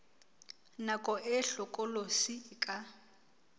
nako e hlokolosi e ka